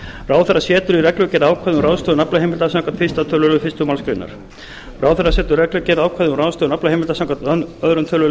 ráðherra setur í reglugerð ákvæði um ráðstöfun aflaheimilda samkvæmt fyrsta tölulið fyrstu málsgrein ráðherra setur í reglugerð ákvæði um ráðstöfun aflaheimilda samkvæmt öðrum tölulið